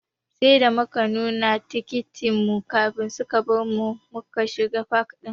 Sai da muka nuna tikitin mu kafin suka bari muka shiga fak ɗin.